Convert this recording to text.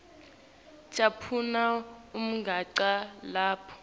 caphuna umugca lapho